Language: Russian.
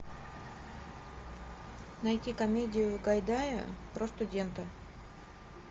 найти комедию гайдая про студентов